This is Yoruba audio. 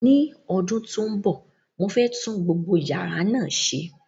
Ní ọdún tó ń bọ̀, mo fẹ́ tún gbogbo yàrá náà ṣe.